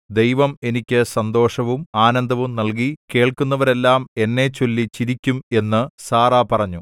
ദൈവം എനിക്ക് സന്തോഷവും ആനന്ദവും നൽകി കേൾക്കുന്നവരെല്ലാം എന്നെച്ചൊല്ലി ചിരിക്കും എന്ന് സാറാ പറഞ്ഞു